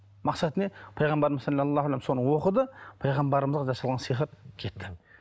мақсаты не пайғамбарымыз соны оқыды пайғамбарымызға да салған сиқыр кетті